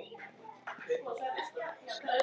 vildi Jón aldrei þiggja greiðslu.